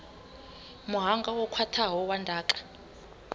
muhanga wo khwathaho wa ndaka